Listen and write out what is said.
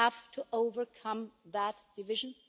We have to overcome that division.